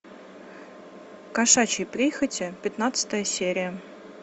кошачьи прихоти пятнадцатая серия